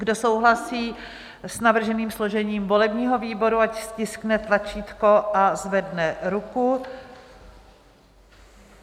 Kdo souhlasí s navrženým složením volebního výboru, ať stiskne tlačítko a zvedne ruku.